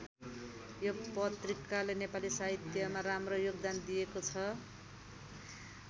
यो पत्रिकाले नेपाली साहित्यमा राम्रो योगदान दिएको छ।